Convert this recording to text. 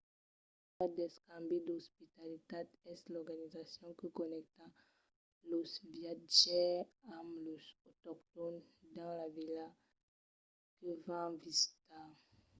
una ret d'escambi d'ospitalitat es l’organizacion que connècta los viatjaires amb los autoctòns dins las vilas que van visitar